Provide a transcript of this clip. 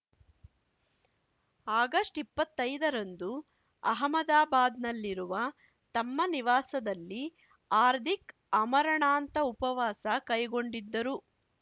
August ಇಪ್ಪತ್ತೈದರಂದು ಅಹಮದಾಬಾದ್‌ನಲ್ಲಿರುವ ತಮ್ಮ ನಿವಾಸದಲ್ಲಿ ಹಾರ್ದಿಕ್‌ ಆಮರಣಾಂತ ಉಪವಾಸ ಕೈಗೊಂಡಿದ್ದರು